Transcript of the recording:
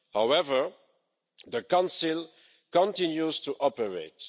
However, the Council continues to operate.